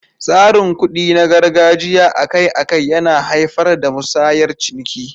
Tsarin kuɗi na gargajiya akai-akai yana haifar da musayar ciniki.